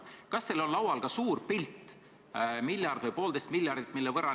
Kas teil on olemas ka suur pilt, mille võrra – miljard või poolteist miljardit?